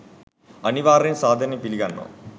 අනිවාර්යෙන් සාදරයෙන් පිලිගන්නවා